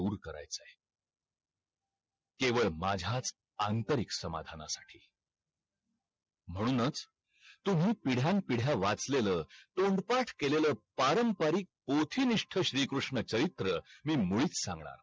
केवळ माझ्याच आंतरिक समाधाना साठी म्हणूनच तुम्ही पिढ्यान पिढ्या वाचलेल तोंड पाठ केलेल पारंपरिक कोठी निष्ठ श्री कृष्ण चरित्र मी मुलीचं सांगणार नाही